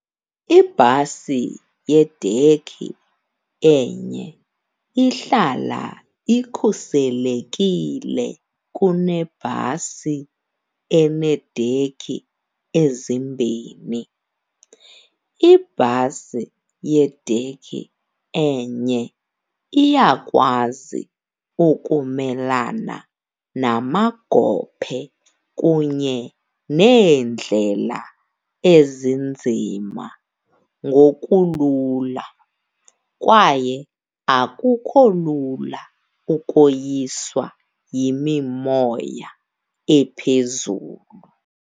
Ibhasi yedekhi enye ihlala ikhuselekile kunebhasi eneedekhi ezimbini. Ibhasi yedekhi enye iyakwazi ukumelana namagophe kunye neendlela ezinzima ngokulula, kwaye akukho lula ukoyiswa yimimoya ephezulu.